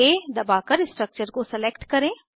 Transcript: CTRLA दबाकर structure को select करें